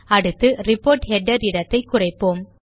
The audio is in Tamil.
அடுத்து ரிப்போர்ட் ஹெடர் இடத்தை குறைப்போம்